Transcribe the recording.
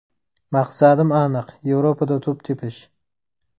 Maqsadim aniq Yevropada to‘p tepish.